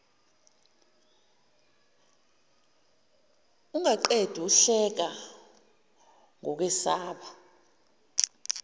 ungaqedi uhleka ngokwesaba